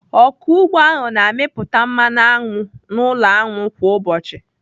Ọkụ ugbo ahụ na-amịpụta mmanụ aṅụ n'ụlọ aṅụ kwa ụbọchị.